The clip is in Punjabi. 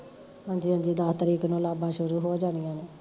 ਹਾਂਜੀ ਹਾਂਜੀ ਦਾਸ ਤਰੀਕ ਨੂੰ ਲਾਂਬਾ ਸ਼ੁਰੂ ਹੋ ਜਾਣੀਆਂ ਨੇ